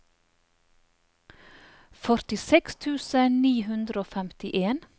førtiseks tusen ni hundre og femtien